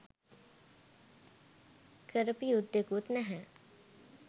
කරපු යුද්ධෙකුත් නැහැ